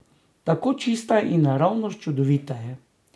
Tako čista in naravnost čudovita je.